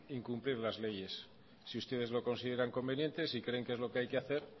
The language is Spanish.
incumplir las leyes si ustedes lo consideran conveniente si creen que es lo que hay que hacer